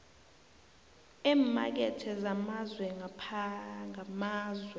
eemakethe zamazwe ngamazwe